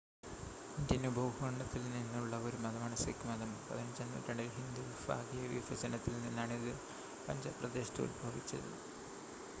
Indian ഉപഭൂഖണ്ഡത്തിൽ നിന്നുള്ള ഒരു മതമാണ് സിഖ് മതം 15-ആം നൂറ്റാണ്ടിൽ ഹിന്ദു വിഭാഗീയ വിഭജനത്തിൽ നിന്നാണ് ഇത് പഞ്ചാബ് പ്രദേശത്ത് ഉത്ഭവിച്ചത്